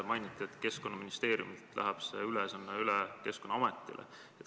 Mainiti, et Keskkonnaministeeriumilt läheb see ülesanne üle Keskkonnaametile.